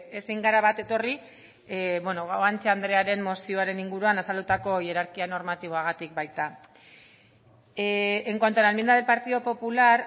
ezin gara bat etorri guanche andrearen mozioaren inguruan azaldutako hierarkia normatiboagatik baita en cuanto a la enmienda del partido popular